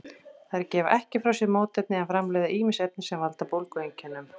Þær gefa ekki frá sér mótefni en framleiða ýmis efni sem valda bólgueinkennum.